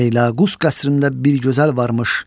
Feyləqus qəsrində bir gözəl varmış,